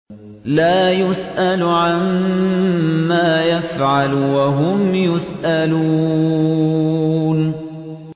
لَا يُسْأَلُ عَمَّا يَفْعَلُ وَهُمْ يُسْأَلُونَ